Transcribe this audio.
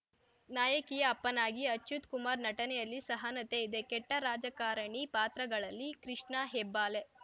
ನಾಯಕಿಯ ಅಪ್ಪನಾಗಿ ಅಚ್ಯುತ್‌ ಕುಮಾರ್‌ ನಟನೆಯಲ್ಲಿ ಸಹನತೆ ಇದೆ ಕೆಟ್ಟರಾಜಕಾರಣಿ ಪಾತ್ರಗಳಲ್ಲಿ ಕೃಷ್ಣ ಹೆಬ್ಬಾಲೆ